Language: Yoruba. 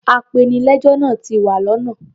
Apenilẹ́jọ́ náa ti wa lọ́nà.